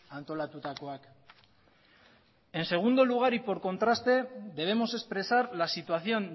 antolatutakoak en segundo lugar y por contraste debemos expresar la situación